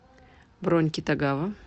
бронь китагава